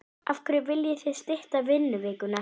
Af hverju viljið þið stytta vinnuvikuna?